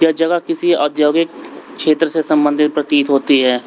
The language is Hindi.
जगह किसी औद्योगिक क्षेत्र से संबंधित प्रतीत होती है।